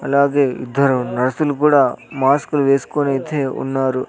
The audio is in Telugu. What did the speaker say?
అలాగే ఇద్దరు నర్సులు కూడా మాస్కులు వేసుకొని అయితే ఉన్నారు.